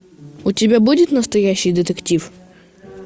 у тебя будет настоящий детектив